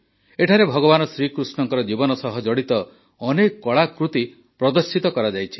ଏଠାରେ ଭଗବାନ ଶ୍ରୀକୃଷ୍ଣଙ୍କ ଜୀବନ ସହ ଜଡ଼ିତ ଅନେକ କଳାକୃତି ପ୍ରଦର୍ଶିତ କରାଯାଇଛି